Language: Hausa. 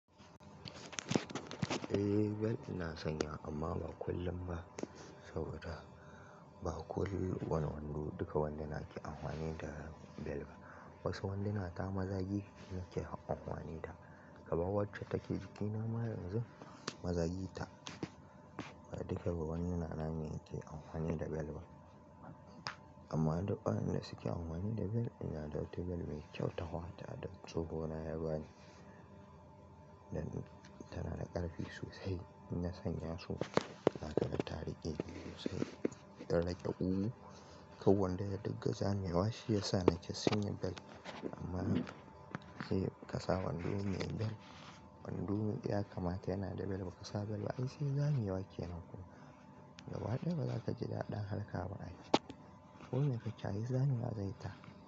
Eh bel ina sanya ta amma ba kullum ba saboda ba ko wani wando duka wanduna ke amfani da bel ba. Wasu wanduna ta mazagi ne take amfani da, kaman wacce take jikina ma yanzu mazagi ta. Ba duka ba wanduna na ne yake amfani da belt ba. Amma duk waɗanda suke amfani da belt, ina ɗauki belt mai kyau, ta fata da tsohona yabani tana da ƙarfi sosai. In na sanya su zakaga ta riƙe sosai don riƙe ƙugu, kar wandon ya dinga zamewa shiyasa nake sanya belt amma sai ka sa wando me belt, wando ya kamata yana da belt baka sa belt ba ai sai zamewa kenan gaba ɗaya bazaka ji daɗin harka ba ai. Ko me kake ai zame wa zai ta.